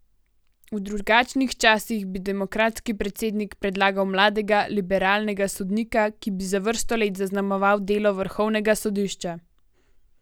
V drugačnih časih bi demokratski predsednik predlagal mladega, liberalnega sodnika, ki bi za vrsto let zaznamoval delo vrhovnega sodišča.